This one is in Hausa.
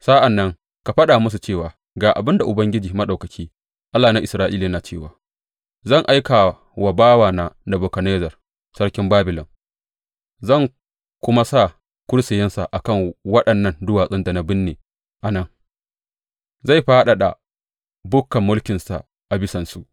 Sa’an nan ka faɗa musu cewa, Ga abin da Ubangiji Maɗaukaki, Allah na Isra’ila, yana cewa, zan aika wa bawana Nebukadnezzar sarkin Babilon, zan kuma sa kursiyinsa a kan waɗannan duwatsun da na binne a nan; zai fadada bukkar mulkinsa a bisansu.